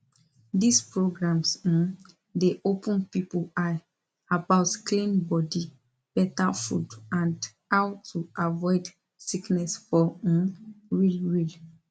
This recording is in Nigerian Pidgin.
these programs um dey open people eye about clean body better food and how to avoid sickness for um real real